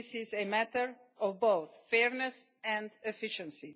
This is a matter of both fairness and efficiency.